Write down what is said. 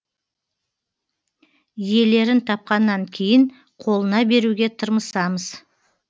иелерін тапқаннан кейін қолына беруге тырмысамыз